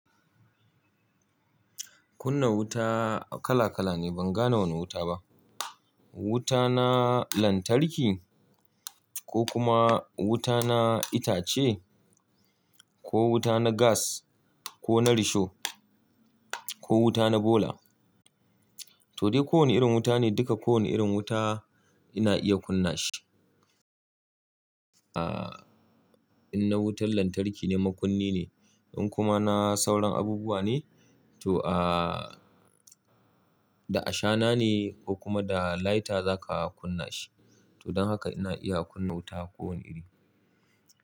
Kunna wuta kala kala ne. Ban gane wane wuta ba. Wuta na lantarki ko kuma wuta na itace ko wuta na gas ko na risho ko wuta na bola. To dai ko wane irin wuta ne duka ko wane irin wuta ina iya kunna shi. Ah, in na wutar lantarki ne, makunni ne. In kuma na sauran abubuwa ne to ah, da ashana ne ko kuma da lighter za ka kunna shi. To don haka ina iya kunna wuta ko wane iri.